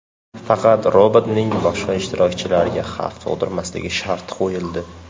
Faqat robotning boshqa ishtirokchilarga xavf tug‘dirmasligi sharti qo‘yildi.